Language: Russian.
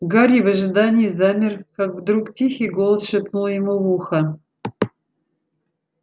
гарри в ожидании замер как вдруг тихий голос шепнул ему в ухо